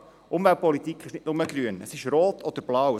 Umweltpolitik ist nicht nur grün, sie ist rot oder blau.